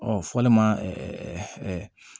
Ɔ fɔli ma